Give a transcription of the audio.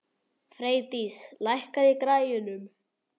Freydís, lækkaðu í græjunum.